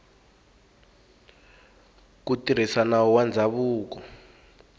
ku tirhisa nawu wa ndzhavuko